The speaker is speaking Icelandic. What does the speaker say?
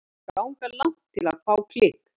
Þeir ganga langt til að fá klikk.